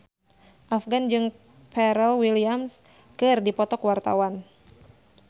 Afgan jeung Pharrell Williams keur dipoto ku wartawan